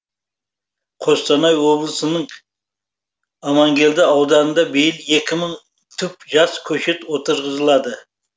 қостанай облысының амангелді ауданында биыл екі мың түп жас көшет отырғызылады